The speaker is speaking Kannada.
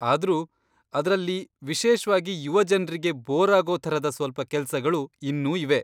ಆದ್ರೂ, ಅದ್ರಲ್ಲಿ, ವಿಶೇಷ್ವಾಗಿ ಯುವ ಜನ್ರಿಗೆ, ಬೋರಾಗೋ ಥರದ ಸ್ವಲ್ಪ ಕೆಲ್ಸಗಳು ಇನ್ನೂ ಇವೆ.